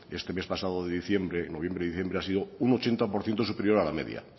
de este pasado mes de diciembre noviembre y diciembre ha sido un ochenta por ciento superior a la media